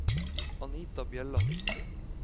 Anita Bjelland